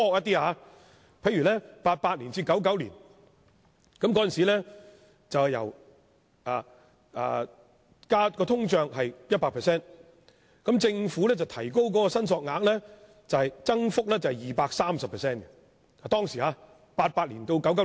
在1988年至1999年，當時的通脹是 100%， 政府把申索額幅加 230% 至5萬元。